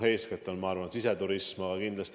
Eeskätt on, ma arvan, tegu siseturismi probleemiga.